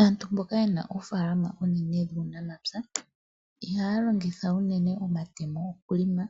Aantu mboka yena oofaalama oonene dhuunamapya ihaya longitha unene omatemo oku longa